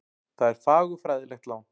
Það er fagurfræðilegt lán.